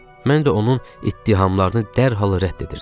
Mən də onun ittihamlarını dərhal rədd edirdim.